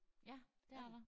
Ja dét er der